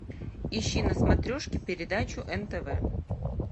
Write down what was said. ищи на смотрешке передачу нтв